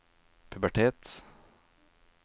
pubertet